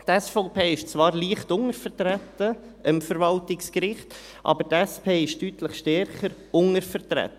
– Die SVP ist zwar am Verwaltungsgericht leicht untervertreten, aber die SP ist am Verwaltungsgericht deutlich stärker untervertreten.